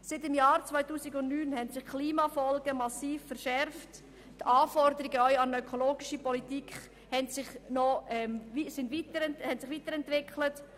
Seit dem Jahr 2009 haben sich die Klimafolgen massiv verschärft, und auch die Anforderungen an eine ökologische Politik haben sich weiterentwickelt.